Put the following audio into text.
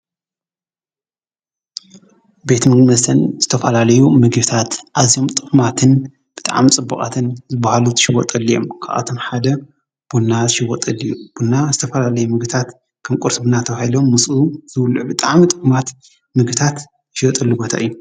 ቤት ምግቢ መስተን ዝተፋላለዩ ምግብታት ኣዝዮም ጥዑማትን ብጣዕሚ ፅቡቃትን ዝበሃሉ ዝሽወጠሉ እዩ። ካባቶም ሓደ ቡና ዝሽወጠሉ እዩ። ቡና ዝተፈላለዩ ምግብታት ከም ቁርሲ ቡና ተባሂሎም ምስኡ ዝብልዑ ብጣዕሚ ጥዑማት ምግብታት ዝሽየጥሉ ቦታ እዩ።